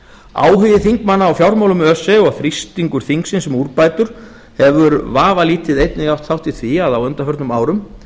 áhugi þingmanna á fjármálum öse og þrýstingur þingsins um úrbætur hefur vafalítið einnig átt þátt í því að á undanförnum árum